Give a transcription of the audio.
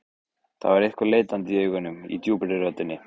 Það var eitthvað leitandi í augunum, í djúpri röddinni.